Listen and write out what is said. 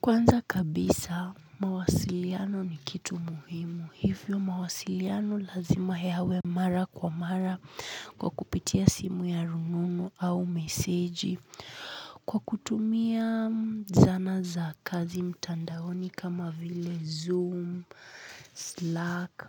Kwanza kabisa, mawasiliano ni kitu muhimu, hivyo mawasiliano lazima yawe mara kwa mara kupitia simu ya rununu au meseji. Kwa kutumia zana za kazi mtandaoni kama vile zoom, slack.